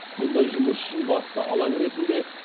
мұндай жұмыс үшін басты алаң ретінде